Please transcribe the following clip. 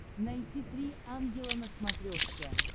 найти три ангела на смотрешке